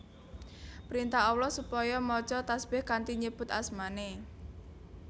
Printah Allah supaya maca tasbih kanthi nyebut asmaNé